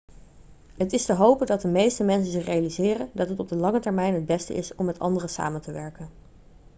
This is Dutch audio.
het is te hopen dat de meeste mensen zich realiseren dat het op de lange termijn het beste is om met anderen samen te werken